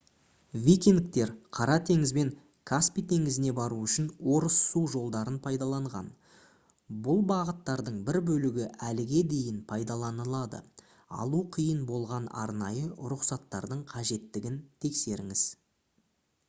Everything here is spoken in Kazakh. викингтер қара теңіз бен каспий теңізіне бару үшін орыс су жолдарын пайдаланған бұл бағыттардың бір бөлігі әліге дейін пайдаланылады алу қиын болған арнайы рұқсаттардың қажеттігін тексеріңіз